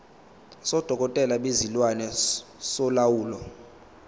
sodokotela bezilwane solawulo